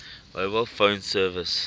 mobile phone service